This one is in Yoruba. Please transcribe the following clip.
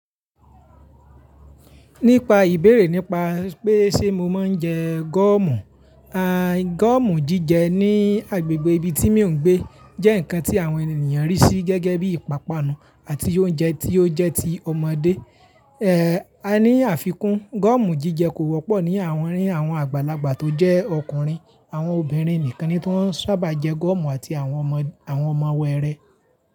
Nípa ìbéèrè nípa pé ṣe mo máa ń jẹ gọ́ọ̀mù, gọ́ọ̀mù jíjẹ ní agbègbè ibi tí mò ń gbé jẹ́ ǹkan tí àwọn ènìyàn rí sí gẹ́gẹ́ bí ìpápánu àti oúnjẹ tí ó jẹ́ ti ọmọdé. À ní àfikún, gọ́ọ̀mù jíjẹ kò wọ́pọ̀ ní àárín àwọn àgbàlagbà tó jẹ́ ọkùnrin, àwọn obìnrin nìkan ni tó sábà jẹ gọ́ọ̀mù àti àwọn ọmọ, àwọn ọmọ wẹ́ẹrẹ.